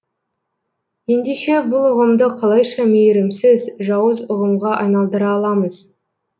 ендеше бұл ұғымды қалайша мейірімсіз жауыз ұғымға айналдыра аламыз